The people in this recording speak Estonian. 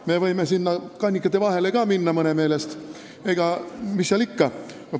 Me võime mõne meelest ka sinna kannikate vahele minna, mis seal ikka.